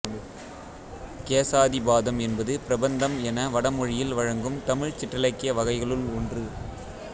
கேசாதிபாதம் என்பது பிரபந்தம் என வடமொழியில் வழங்கும் தமிழ்ச் சிற்றிலக்கிய வகைகளுள் ஒன்று